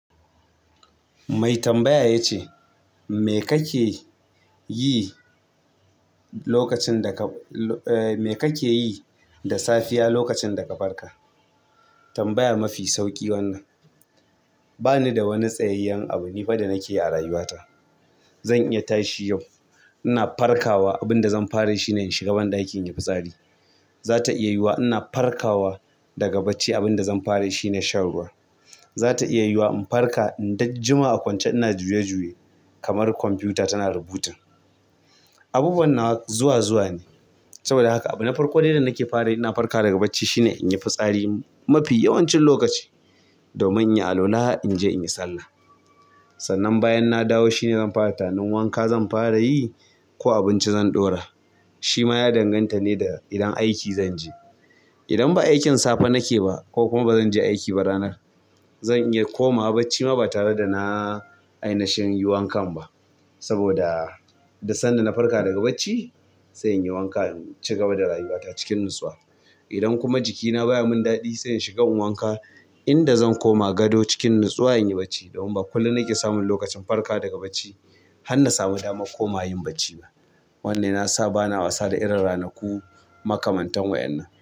Mai tambaya ya ce, me kake yi da safiya lokacin da ka farka? Tambaya mafi sauƙi wannan. Ba ni da wani tsayayyen abu; ni fa da nake a rayuwata. Zan iya tashi yau ina farkawa abin da zan fara yi shi ne in shiga banɗaki in yi fitsari. Zata iya yiwuwa ina farkawa daga barci abin da zan fara yi shine shan ruwa. Za ta iya yiwuwa in farka in ɗan jima a kwance ina juya-juya kamar kwamfuta tana rebooting. Abubuwa nawa zuwa-zuwa ne. Saboda haka abi na farko dai da nake fara ina farka daga bacci shine in yi fitsari mafi yawancin lokaci domin in yi alwala in je in yi sallah. Sannan bayan na dawo shine zan fara tanan wanka zan fara yi ko abinci zan ɗora. Shi ma ya danganta ne da idan aiki zan je. Idan ba aikin safe nake ba ko kuma ba zan je aiki ba ranar, zan iya komawa bacci ma ba tare da na ai nashin yi wankan ba. Saboda duk sanda na farka daga bacci sai in yi wanka in ci gaba da rayuwata cikin nutsuwa. Idan kuma jikina baya mun daɗi sai in shiga in wanka inda zan koma gado cikin natsuwa in yi bacci domin ba kullum nake samun lokacin farka daga bacci har na sami damar komawa yin bacci ba. Wannan ya sa ba na wasa da irin ranaku makamantan wa'innan.